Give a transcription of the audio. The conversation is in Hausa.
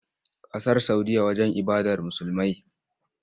Ƙasar Saudiyya wajen ibadar Musulmai.